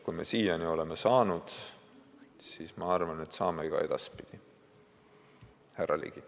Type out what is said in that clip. Kui me siiani oleme saanud, siis ma arvan, et saame ka edaspidi, härra Ligi.